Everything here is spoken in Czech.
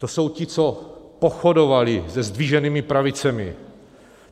To jsou ti, co pochodovali se zdviženými pravicemi.